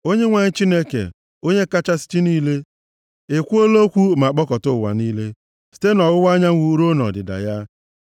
Onyenwe anyị, Chineke, Onye kachasị chi niile, ekwuola okwu ma kpọkọta ụwa niile, site na ọwụwa anyanwụ ruo na ọdịda ya.